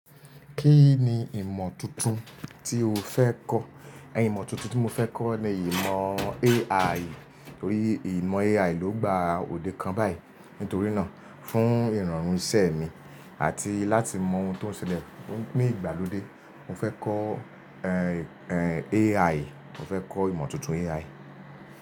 Kí ni ìmọ̀ tuntun tí o fẹ́ kọ́? Imọ̀ tuntun tí mo fẹ́ kọ́ ni ìmọ̀ AI, nítorí ìmọ̀ AI ló gba òde kan báyìí. Nítorí náà, fún ìrọ̀rùn iṣẹ́ mi àti láti mọ ohun tó ń ṣẹlẹ̀ ní ìgbàlódé, mo fẹ́ kọ́ AI. Mo fẹ́ kọ́ ìmọ̀ tuntun AI.